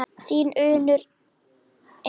Þín Unnur Eva.